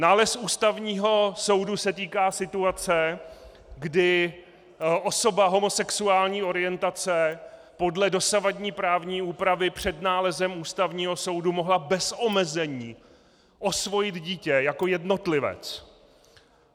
Nález Ústavního soudu se týká situace, kdy osoba homosexuální orientace podle dosavadní právní úpravy před nálezem Ústavního soudu mohla bez omezení osvojit dítě jako jednotlivec.